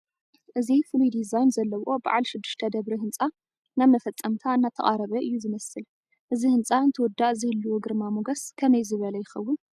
እዚ ፍሉይ ዲዛይን ዘለዎ በዓል ሽዱሽተ ደብሪ ህንፃ ናብ መፈፀምታ እናተቓረበ እዩ ዝመስል፡፡ እዚ ህንፃ እንትውዳእ ዝህልዎ ግርማ ሞገስ ከመይ ዝበለ ይኸውን?